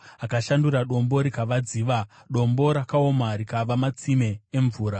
akashandura dombo rikava dziva, dombo rakaoma rikava matsime emvura.